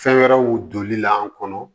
Fɛn wɛrɛw donli la an kɔnɔ